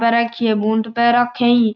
पहर राखी है बूट पहर राखी।